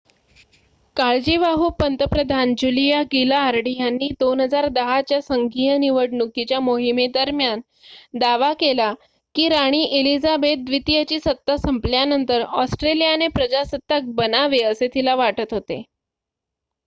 काळजीवाहू पंतप्रधान Julia Gillard यांनी 2010 च्या संघीय निवडणुकीच्या मोहिमेदरम्यान दावा केला की राणी एलिझाबेथ द्वितीयची सत्ता संपल्यानंतर ऑस्ट्रेलियाने प्रजासत्ताक बनावे असे तिला वाटत होते